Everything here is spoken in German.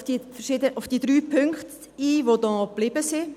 Ich gehe auf die drei Punkte ein, die noch geblieben sind.